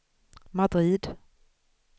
Madrid